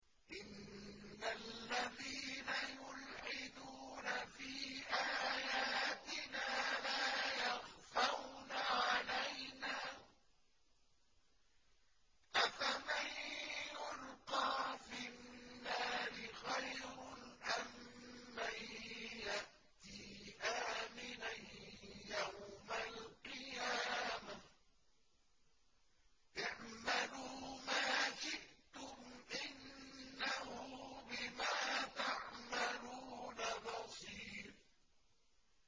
إِنَّ الَّذِينَ يُلْحِدُونَ فِي آيَاتِنَا لَا يَخْفَوْنَ عَلَيْنَا ۗ أَفَمَن يُلْقَىٰ فِي النَّارِ خَيْرٌ أَم مَّن يَأْتِي آمِنًا يَوْمَ الْقِيَامَةِ ۚ اعْمَلُوا مَا شِئْتُمْ ۖ إِنَّهُ بِمَا تَعْمَلُونَ بَصِيرٌ